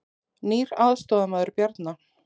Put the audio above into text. Nýr aðstoðarmaður Bjarna